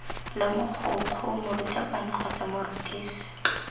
la mogokgo morutabana kgotsa morutisi